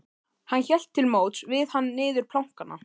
Hún hélt til móts við hann niður plankana.